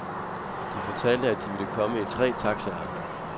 De fortalte, at de ville komme i tre taxaer.